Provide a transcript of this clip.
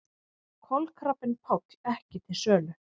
Kolkrabbinn Páll ekki til sölu